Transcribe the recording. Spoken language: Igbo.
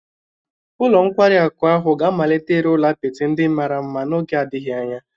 Ụlọ nkwari akụ ahụ ga-amalite ịrụ ụlọ apịtị ndị mara mma n'oge adịghị anya